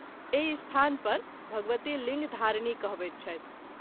एहि स्थान पर भगवति लिंग धारणी कहबैत छथि।